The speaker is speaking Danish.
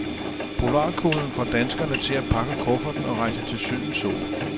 Polarkulden får danskerne til at pakke kufferten og rejse til sydens sol.